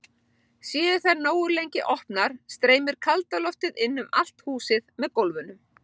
Séu þær nógu lengi opnar streymir kalda loftið inn um allt húsið með gólfunum.